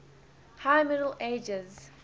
high middle ages